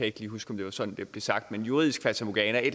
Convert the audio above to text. ikke lige huske om det var sådan det blev sagt men juridisk fatamorgana og